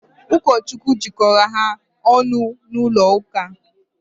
Ụkọchukwu jikọrọ ha ọnụ n'ụlọ ụka.